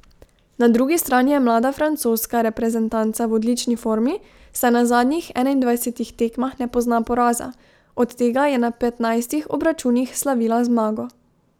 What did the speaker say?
Na drugi strani je mlada francoska reprezentanca v odlični formi, saj na zadnjih enaindvajsetih tekmah ne pozna poraza, od tega je na petnajstih obračunih slavila zmago.